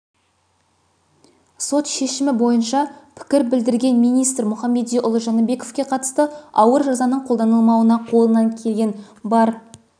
сот шешімі бойынша пікір білдірген министр мұхамедиұлы жәнібековке қатысты ауыр жазаның қолданылмауына қолынан келген бар